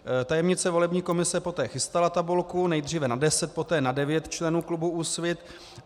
Tajemnice volební komise poté chystala tabulku, nejdříve na 10, poté na 9 členů klubu Úsvit.